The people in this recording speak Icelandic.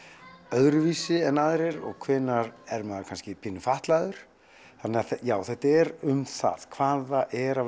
öðruvísi en aðrir og hvenær er maður kannski pínu fatlaður þannig að já þetta er um það hvað það er að